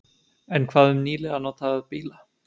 En hvað um nýlega notaða bíla?